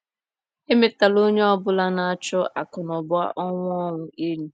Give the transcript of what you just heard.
Emetela onye ọ bụla na - achụ akụnụba ọnwụ ọnwụ enyi.